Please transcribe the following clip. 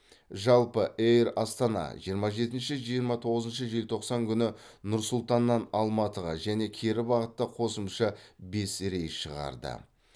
жалпы эйр астана жиырма жетінші жиырма тоғызыншы желтоқсан күні нұр сұлтаннан алматығы және кері бағытта қосымша бес рейс шығарды